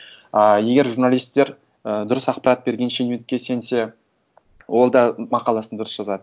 ыыы егер журналистер ііі дұрыс ақпарат берген шенеунікке сенсе ол да мақаласын дұрыс жазады